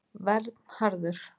Vernharður